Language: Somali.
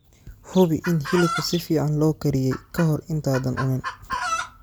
Hubi in hilibka si fiican loo kariyey ka hor intaadan cunin.